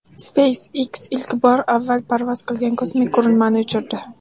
SpaceX ilk bor avval parvoz qilgan kosmik qurilmani uchirdi .